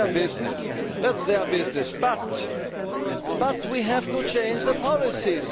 That is their business. But we have to change the policies.